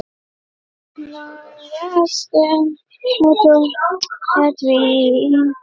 Oft við slag er bragur.